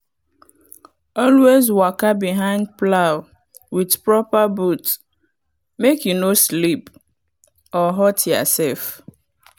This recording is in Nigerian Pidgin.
always waka behind plow with proper boot make you no slip or hurt yourself.